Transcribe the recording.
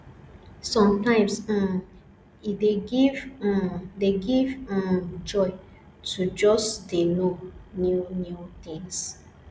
sometimes um e dey give um dey give um joy to just dey know new new things